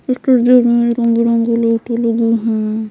इस तस्वीर में रंग बिरंगी लाइटें लगी है।